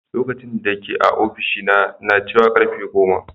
Lokacin dake a ofishina na cewa karfe goma.